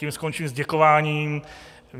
Tím skončím s děkováním